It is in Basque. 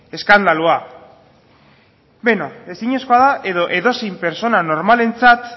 ezinezkoa da edo edozein pertsona normalarentzat